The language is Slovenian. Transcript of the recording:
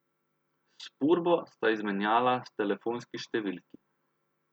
S Purbo sta izmenjala telefonski številki.